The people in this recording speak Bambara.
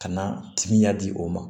Ka na timiya di o ma